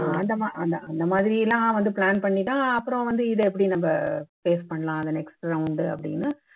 அஹ் அந்த மா அந்த அந்த மாதிரி எல்லாம் வந்து plan பண்ணிதான் அப்புறம் வந்து இதை எப்படி நம்ம face பண்ணலாம் அந்த next round உ அப்படின்னு